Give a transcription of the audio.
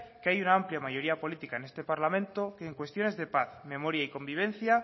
que hay una amplia mayoría política en este parlamento que en cuestiones de paz memoria y convivencia